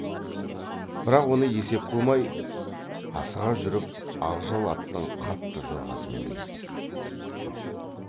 бірақ оны есеп қылмай асыға жүріп ақжал аттың қатты жорғасымен келеді